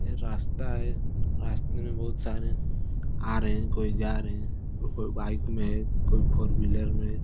ये रास्ता है रास्ते में बहुत सारे आ रहे हैं कोई जा रहें कोई बाइक में है कोई फोर व्हीलर में।